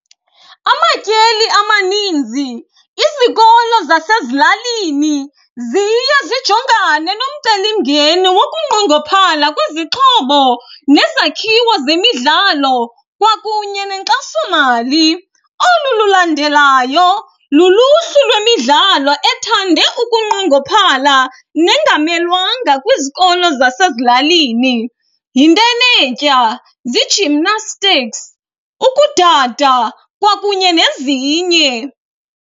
Amatyeli amaninzi izikolo zasezilalini ziye zijongane nomcelimngeni wokunqongophala kwezixhobo nezakhiwo zemidlalo kwakunye nenkxasomali. Olu lulandelayo luluhlu lwemidlalo ethande ukunqongophala nengamelwanga kwizikolo zasezilalini. Yintenetya, zii-gymnastics, ukudada kwakunye nezinye.